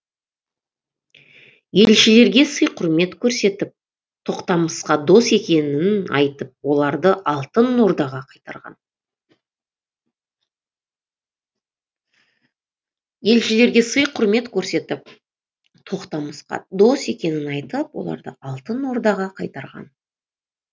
елшілерге сый құрмет көрсетіп тоқтамысқа дос екенін айтып оларды алтын ордаға қайтарған